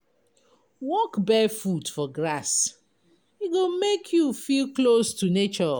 Walk barefoot for grass, e go make you feel close to nature.